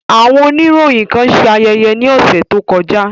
Awọn oniroyin kan ṣe ayẹyẹ ni ọsẹ to kọja.